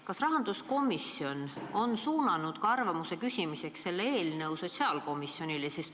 Kas rahanduskomisjon on suunanud arvamuse küsimiseks selle eelnõu ka sotsiaalkomisjonile?